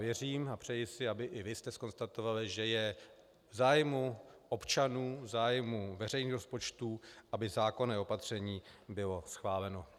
Věřím a přeji si, aby i vy jste zkonstatovali, že je v zájmu občanů, v zájmu veřejných rozpočtů, aby zákonné opatření bylo schváleno.